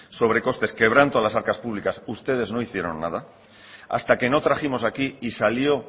sobrecostes quebranto a las arcas públicas ustedes no hicieron nada hasta que no trajimos aquí y salió